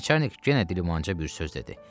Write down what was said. Nəçərnik yenə dilmancıya bir söz dedi.